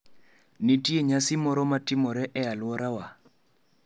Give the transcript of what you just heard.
Nitie nyasi moro ma timore e alworawa?